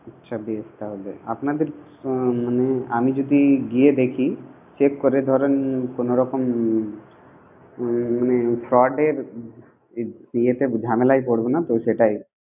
আচ্ছা বেশ তাহলে আপনাদের মানে আমি যদি গিয়ে দেখি, check করে ধরেন কোনরকম fraud ঝামেলাই পরবো নাতো